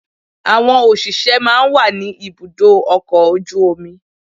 Àwọn òṣìṣẹ́ máa ń wà ní ibùdó ọkọ̀ ojú omi